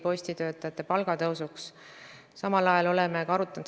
Ma juhin teie tähelepanu sellele, et juulis 2017 hakkas kehtima kolmanda ja enama lapse toetus.